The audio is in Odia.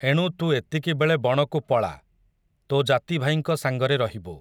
ଏଣୁ ତୁ ଏତିକିବେଳେ ବଣକୁ ପଳା, ତୋ ଜାତିଭାଇଙ୍କ ସାଙ୍ଗରେ ରହିବୁ ।